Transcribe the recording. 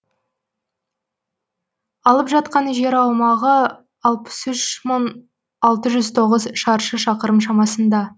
алып жатқан жер аумағы алпыс үш мың алты жүз тоғыз шаршы шақырым шамасында